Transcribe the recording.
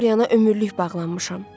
Mən Doriana ömürlük bağlanmışam.